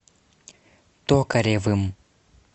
токаревым